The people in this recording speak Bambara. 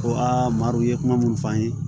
Ko aa marɔku ye kuma munnu fɔ an ye